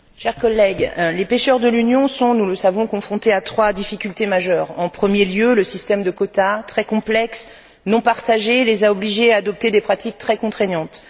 Monsieur le Président, chers collègues, les pêcheurs de l'Union sont, nous le savons, confrontés à trois difficultés majeures en premier lieu, le système de quotas, très complexe, non partagé, les a obligés à adopter des pratiques très contraignantes.